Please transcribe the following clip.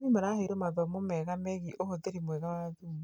arĩmi maraheirwo mathomo megiĩĩ uhũthĩri mwega wa thumu.